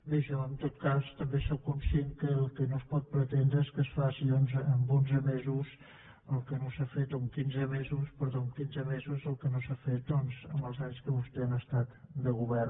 bé jo en tot cas també sóc conscient que el que no es pot pretendre és que es faci en onze mesos o en quinze mesos perdó en quinze mesos el que no s’ha fet doncs en els anys que vostès han estat al govern